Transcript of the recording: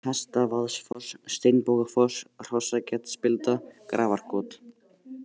Hestavaðsfoss, Steinbogafoss, Hrossaketsspilda, Grafarkot